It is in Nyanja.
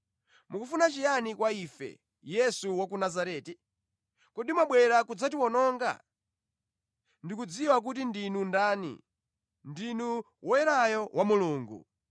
“Mukufuna chiyani kwa ife, Yesu wa ku Nazareti? Kodi mwabwera kudzatiwononga? Ndikudziwa kuti ndinu ndani, ndinu Woyerayo wa Mulungu!”